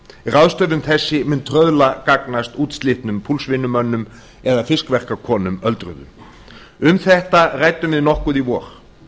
ráðstöfun þessi mun trauðla gagnast útslitnum púlsvinnumönnum eða fiskverkakonum öldruðum um þetta ræddum við nokkuð í vor